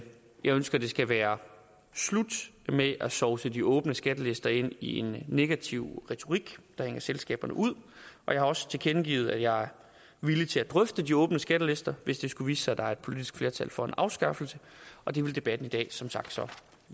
ønsker at det skal være slut med at sovse de åbne skattelister ind i en negativ retorik der hænger selskaberne ud og jeg har også tilkendegivet at jeg er villig til at drøfte de åbne skattelister hvis det skulle vise sig at der er et politisk flertal for en afskaffelse og det vil debatten i dag som sagt